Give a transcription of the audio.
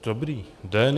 Dobrý den.